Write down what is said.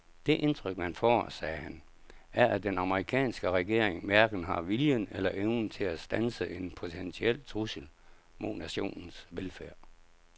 Det indtryk man får, sagde han, er at den amerikanske regering hverken har viljen eller evnen til at standse en potentiel trussel mod nationens velfærd.